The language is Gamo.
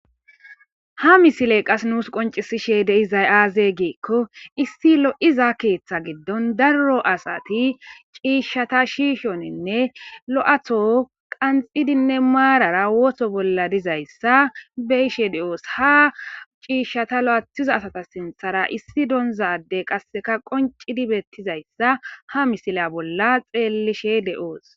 Haa misele qasi nusi qonccisishshe dizayi aze gikko issi lo'iza keththa giddon daro asayi cishshata shishshonne loyiththo qani'iddi mara bolla dizayissa be'ishshe de'os.haa cishshata loyiththiza asata bolla issi donizza adeyi wonccidi bettizayissa haa missile bolla xellishshe de'os.